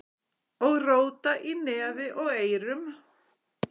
Og róta í nefi og eyrum.